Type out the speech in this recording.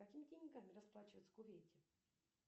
какими деньгами расплачиваются в кувейте